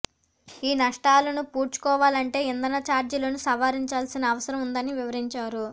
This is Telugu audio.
ఈ నష్టాలను పూడ్చుకోవాలంటే ఇంధన చార్జీలను సవరించాల్సిన అవసరం ఉందని వివరించారు